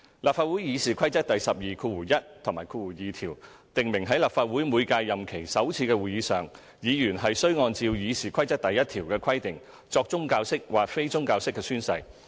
立法會《議事規則》第121及2條訂明在立法會每屆任期首次會議上，議員須按照《議事規則》第1條的規定作宗教式或非宗教式宣誓。